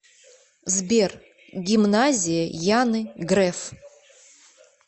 сбер гимназия яны греф